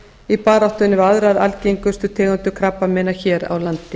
í baráttunni við aðrar algengustu tegundir krabbameina hér á landi